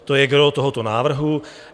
To je gros tohoto návrhu.